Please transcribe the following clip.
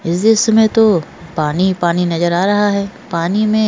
इस दृश्य में तो पानी-पानी नजर आ रहा है पानी में --